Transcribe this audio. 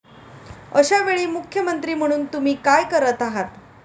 अशावेळी मुख्यमंत्री म्हणून तुम्ही काय करत आहात?